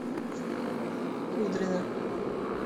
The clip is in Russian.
кудрина